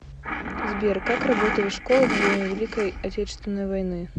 сбер как работали школы во время великой отечественной войны